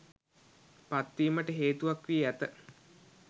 පත්වීමට හේතුවක් වී ඇත.